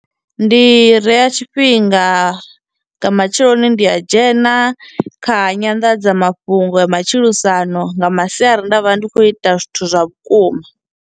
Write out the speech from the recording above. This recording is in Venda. Ndi reya tshifhinga, nga matsheloni ndi a dzhena kha nyanḓadzamafhungo ya matshilisano, nga masiari nda vha ndi khou ita zwithu zwa vhukuma.